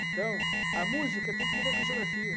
Então, a música tem tudo a ver com a geografia.